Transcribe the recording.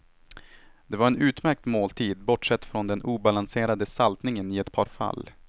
Det var en utmärkt måltid, bortsett från den obalanserade saltningen i ett par fall.